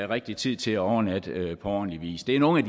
rigtig tid til at overnatte på ordentlig vis det er nogle